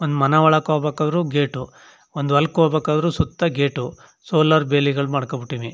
ಒಂದ್ ಮನ ಒಳಕ್ ಹೋಗ್ ಬೇಕಾರು ಗೇಟ್ ಒಂದ್ ಹೊಲಕ್ ಹೋಗ್ ಬೇಕಾರು ಸುತ್ತ ಗೇಟು ಸೋಲಾರ್ ಬೇಲಿಗಳ್ ಮಾಡಕೊಂಡ್ ಬಿಟ್ಟೀನಿ .